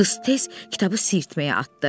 Qız tez kitabı sirtməyə atdı.